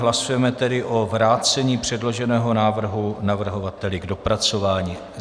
Hlasujeme tedy o vrácení předloženého návrhu navrhovateli k dopracování.